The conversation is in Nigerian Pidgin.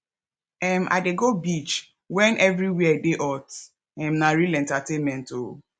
um i dey go beach wen everywhere dey hot um na real entertainment o